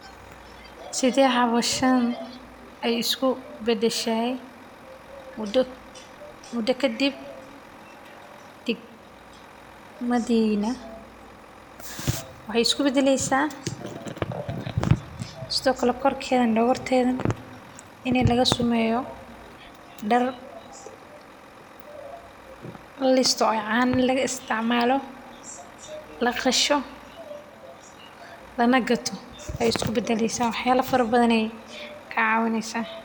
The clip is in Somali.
Sidee howshan aay isku badashe muda kadib dwgmadiina waxeey isku badaleysa in maqarkeeda laga sameeyo dar canahewda lacabo laqasho lacag laga helo ayeey isku badaleysa wax badan ayeey naga caawineysa.